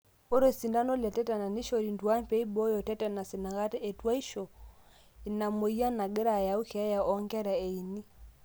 ore osintano letetenus nekshori intuaan pee eibooyo tetenus inakata etuashu, ina mweyian nagira ayau keeya oonkera eini